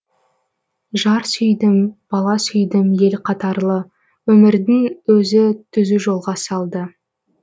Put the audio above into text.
жар сүйдім бала сүйдім ел қатарлы өмірдің өзі түзу жолға салды